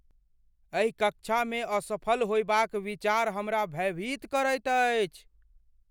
एहि कक्षामे असफल होयबाक विचार हमरा भयभीत करैत अछि।